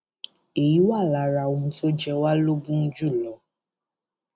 èyí wà lára ohun tó jẹ wá lógún jù lọ